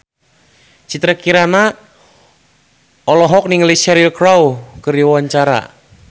Citra Kirana olohok ningali Cheryl Crow keur diwawancara